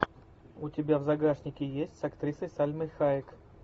у тебя в загашнике есть с актрисой сальмой хайек